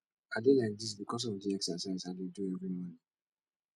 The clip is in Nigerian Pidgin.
i dey like dis because of the exercise i dey do every morning